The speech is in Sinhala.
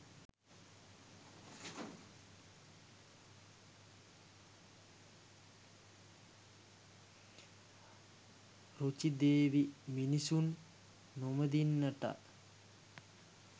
රුචි දෙවි මිනිසුන් නොමිදෙන්නට